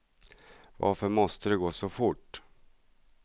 Varför måste det gå så fort?